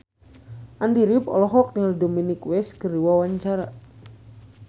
Andy rif olohok ningali Dominic West keur diwawancara